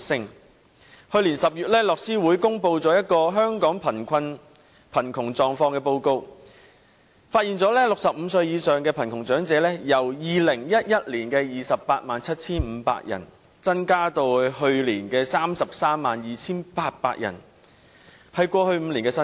樂施會在去年10月公布《香港貧窮狀況報告》，發現65歲或以上的貧窮長者人數，由2011年的 287,500 人增至去年的 332,800 人，是過去5年的新高。